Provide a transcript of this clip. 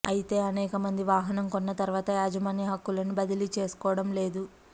అయితే అనేక మంది వాహనం కొన్న తర్వాత యాజమాన్య హక్కులను బదిలీ చేసుకోవడం లేదు